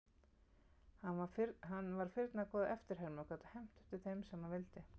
Hann var firna góð eftirherma og gat hermt eftir þeim sem hann vildi.